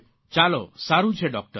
ચાલો સારૂં છે ડૉકટર